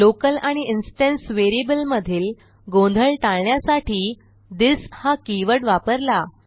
local आणि instance variable मधील गोंधळ टाळण्यासाठी थिस हा कीवर्ड वापरला